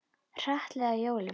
Hratt leið að jólum.